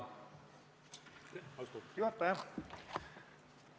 Austatud juhataja!